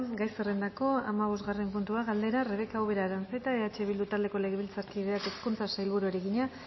gai zerrendako hamabosgarren puntua galdera rebeka ubera aranzeta eh bildu taldeko legebiltzarkideak hezkuntzako sailburuari egina